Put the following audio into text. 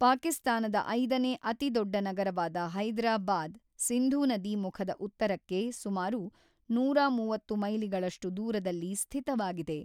ಪಾಕಿಸ್ತಾನದ ಐದನೇ ಅತಿದೊಡ್ಡ ನಗರವಾದ ಹೈದರಾಬಾದ್, ಸಿಂಧೂ ನದಿ ಮುಖದ ಉತ್ತರಕ್ಕೆ ಸುಮಾರು ನೂರ ಮೂವತ್ತು ಮೈಲಿಗಳಷ್ಟು ದೂರದಲ್ಲಿ ಸ್ಥಿತವಾಗಿದೆ.